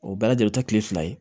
O bɛɛ lajɛlen bɛ taa kile fila ye